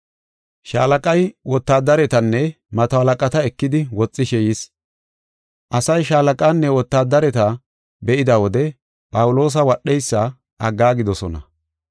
Shaalaqay wotaadaretanne mato halaqata ekidi woxishe yis. Asay shaalaqaanne wotaadareta be7ida wode Phawuloosa wadheysa aggaagidosona.